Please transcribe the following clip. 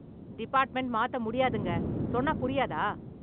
Department மாத்த முடியாதுங்க. சொன்னாப் புரியாதா?